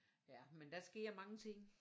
Ja men der sker mange ting